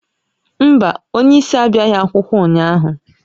Mba, onye isi abịaghị akwụkwọ ụnyaahụ